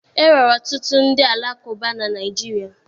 E nwere ọtụtụ ndị Alakụba na Naịjirịa